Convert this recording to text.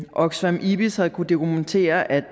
oxfam ibis har kunnet dokumentere at